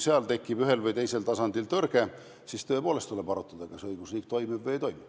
Kui ühel või teisel tasandil tekib tõrge, siis tuleb tõepoolest arutada, kas õigusriik toimib või ei toimi.